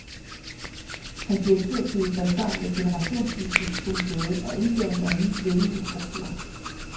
Hans direktørtid faldt sammen med et generationsskifte på museet og indføringen af en ny ledelsesstruktur.